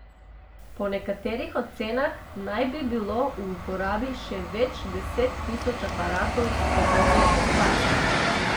Po nekaterih ocenah naj bi bilo v uporabi še več deset tisoč aparatov s podobno okvaro.